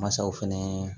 Mansaw fɛnɛ